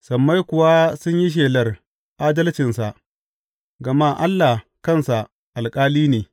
Sammai kuwa sun yi shelar adalcinsa gama Allah kansa alƙali ne.